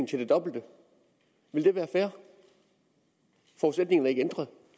til det dobbelte ville det være fair forudsætningen er ikke ændret